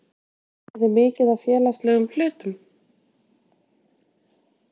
geriði mikið af félagslegum hlutum?